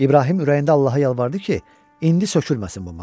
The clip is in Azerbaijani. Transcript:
İbrahim ürəyində Allaha yalvardı ki, indi sökülməsin bu maşın.